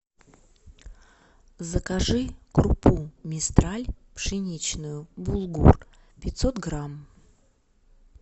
закажи крупу мистраль пшеничную булгур пятьсот грамм